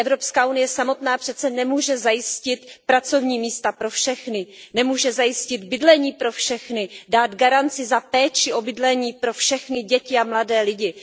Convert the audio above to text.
Evropská unie samotná přece nemůže zajistit pracovní místa pro všechny, nemůže zajistit bydlení pro všechny, dát garanci za péči o bydlení pro všechny děti a mladé lidi.